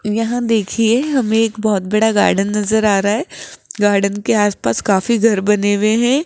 यहां देखिए हमें एक बहोत बड़ा गार्डन नजर आ रहा है गार्डन के आसपास काफी घर बने हुए हैं।